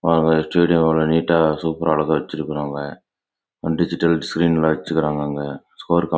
digital screen வெச்சிருக்காங்க